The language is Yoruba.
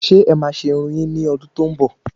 Ṣé ẹ ma se Irun yin ni ọdún tó ń bọ?